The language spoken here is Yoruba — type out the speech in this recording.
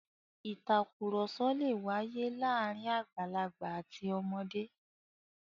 *Ìtàkurọ̀sọ lè wáyé láàárín àgbàlagbà àti ọmọdé.